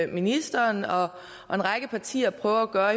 ministeren og en række partier prøver at gøre